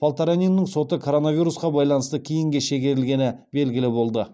полтораниннің соты коронавирусқа байланысты кейінге шегерілгені белгілі болды